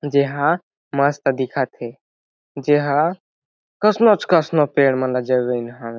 जेहा मस्त दिखत हे जेहा कस नो च कस नो पेड़ मन ला जगइन हावे।